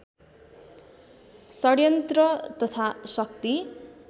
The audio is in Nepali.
षड्यन्त्र तथा शक्ति